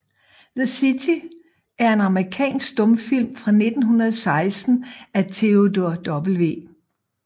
The City er en amerikansk stumfilm fra 1916 af Theodore W